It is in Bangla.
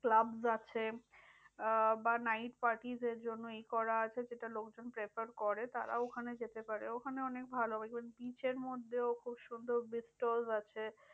Clubs আছে আহ বা night parties এর জন্য এই করা আছে, যেটা লোকজন prefer করে। তারাও ওখানে যেতে পারে ওখানে অনেক ভালো ওই beach এর মধ্যে খুব সুন্দর beach stall আছে।